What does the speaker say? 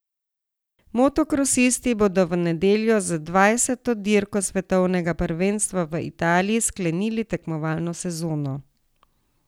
Motokrosisti bodo v nedeljo z dvajseto dirko svetovnega prvenstva v Italiji sklenili tekmovalno sezono.